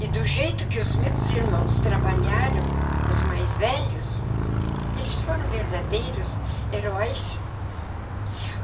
E do jeito que os meus irmãos trabalharam, os mais velhos, eles foram verdadeiros heróis.